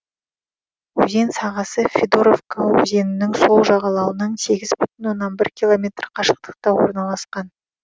өзен сағасы федоровка өзенінің сол жағалауынан сегіз бүтін оннан бір километр қашықтықта орналасқан